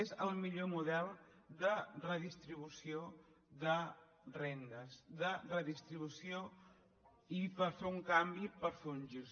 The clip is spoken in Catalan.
és el millor model de redistribució de rendes de redistribució i per fer un canvi per fer un gir